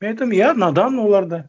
мен айтамын иә надан олар да